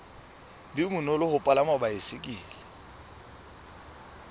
be bonolo ho palama baesekele